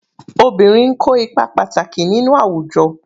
Obìnrin n ko ipa pàtàkì nínú àwùjọ.